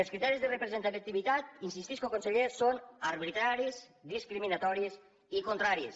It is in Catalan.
els criteris de representativitat hi insistisc conseller són arbitraris discriminatoris i contraris